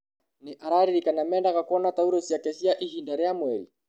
Nĩ araririkana mendaga kuona tauro ciake cia ihinda rĩa mweri